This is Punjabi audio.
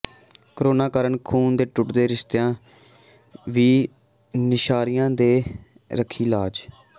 ਕੋਰੋਨਾ ਕਾਰਨ ਖ਼ੂਨ ਦੇ ਟੁੱਟਦੇ ਰਿਸ਼ਤਿਆਂ ਦੀ ਨਵਾਂਸ਼ਹਿਰੀਆਂ ਨੇ ਰੱਖੀ ਲਾਜ